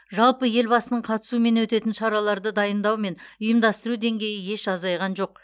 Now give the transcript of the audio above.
жалпы елбасының қатысуымен өтетін шараларды дайындау мен ұйымдастыру деңгейі еш азайған жоқ